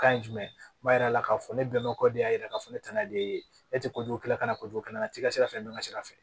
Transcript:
Kan ye jumɛn yira la k'a fɔ ne bɛn na o kɔ de y'a yira k'a fɔ ne tana de ye ne tɛ kojugu kɛla ka na kojugu kalan na i tɛ ka se ka fɛn dɔn ka sira fɛ